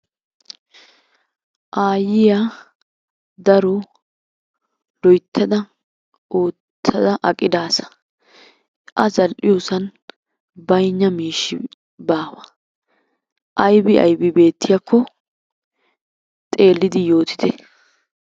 Aayyiya daro loyttada oottada aqida asa. A zal"iyosan baynna miishshi baawa. Aybi aybi beettiyakko xeellidi yootite.